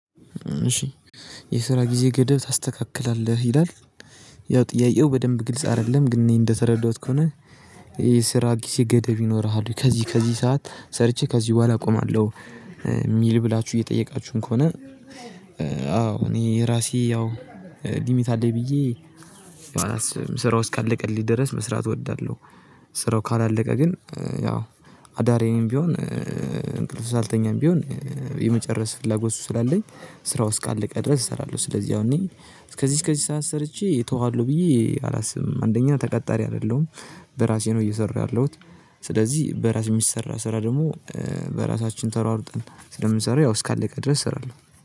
እሺ የስራ ጊዜ ገደብ ታስተካክላለህ ይላል? ያው ጥያቄው በደንብ ግልጽ አይደለም ግን እኔ እንደተረዳሁት ከሆነ። የስራ ጊዜ ገደብ ይኖርሃል ወይ ከዚህ ከዚህ ሰዓት ሰርቼ ከዚህ በኋላ አቆማለሁ የሚል ብላችሁ እየጠየቃችሁን ከሆነ? አዎ እኔ የራሴ ያው ሊሚት አለኝ ብዬ ስራው እስካለቀልኝ ድረስ መስራት እወዳለሁ። ስራው ካላለቀ ግን ያው አዳሬንም ቢሆን እንቅልፍ ሳልተኛም ቢሆን የመጨረስ ፍላጎት ስላለኝ ስራው እስካለቀ ድረስ እሰራለሁ። ስለዚህ አሁን እኔ እስከዚህ እስከዚህ ሰዓት ሰርቼ እተዋለሁ ብዬ አላስብም። አንደኛ ተቀጣሪ አይደለሁም በራሴ ነው እየሰሩ ያለሁት። ስለዚህ በራስ የሚሰራ ስራ ደግሞ በራሳችን ተሯሩጠን ስለምንሰራው ያው እስካለቀ ድረስ እሰራለሁ።